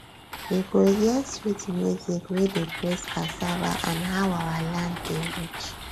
you go hear sweet music wey dey praise cassava and how our land dey rich